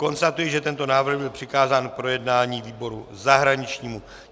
Konstatuji, že tento návrh byl přikázán k projednání výboru zahraničnímu.